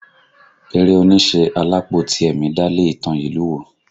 Eré oníṣe Alápó Tìẹ̀mì dálé ìtàn ìlú wo?